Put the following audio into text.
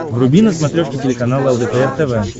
вруби на смотрешке телеканал лдпр тв